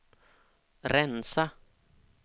rensa